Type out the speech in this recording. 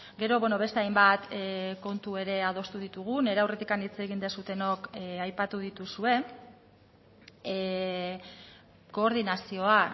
gero beste hainbat kontu ere adostu ditugu nire aurretik hitz egin duzuenok aipatu dituzue koordinazioa